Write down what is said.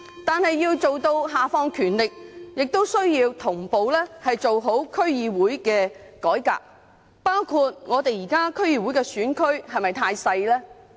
但是，要下放權力，亦需要同步做好區議會的改革，包括檢討現時區議會的選區是否太小。